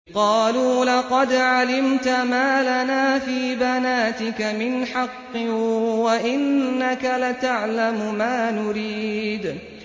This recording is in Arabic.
قَالُوا لَقَدْ عَلِمْتَ مَا لَنَا فِي بَنَاتِكَ مِنْ حَقٍّ وَإِنَّكَ لَتَعْلَمُ مَا نُرِيدُ